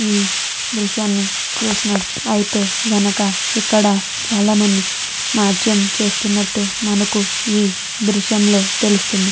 ఈ దృశ్యాన్ని చూసినట్టయితే ఇక్కడ చాలామంది నాట్యం చేస్తునట్టు మనకి ఈ దృశ్యం లో తెలుస్తుంది.